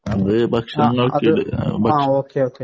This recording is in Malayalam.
അത് ഭക്ഷണം